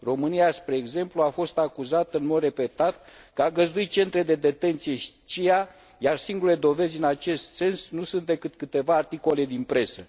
România, spre exemplu, a fost acuzată în mod repetat că a găzduit centre de detenție CIA, iar singurele dovezi în acest sens nu sunt decât câteva articole din presă.